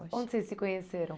Onde vocês se conheceram?